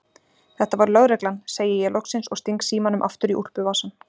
Þetta var lögreglan, segi ég loksins og sting símanum aftur í úlpuvasann.